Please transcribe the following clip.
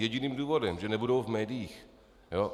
Jediným důvodem - že nebudou v médiích?